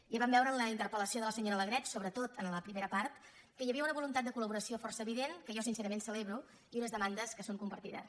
ja vam veure en la interpel·lació de la senyora alegret sobretot en la primera part que hi havia una voluntat de col·laboració força evident que jo sincerament celebro i unes demandes que són compartides